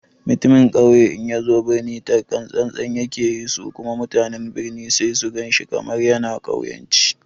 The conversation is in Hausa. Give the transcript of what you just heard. Mutumin ƙauye in yazo birnin taka tsan-tsan yake yi, su kuma mutanen birni sai su gan shi kamar yana ƙauyanci.